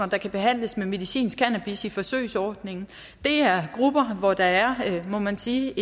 der kan behandles med medicinsk cannabis i forsøgsordningen det er grupper hvor der er må man sige